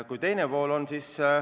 Nüüd teiseks.